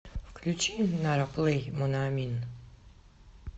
включи нара плэй моноамин